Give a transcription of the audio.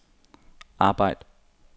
arbejd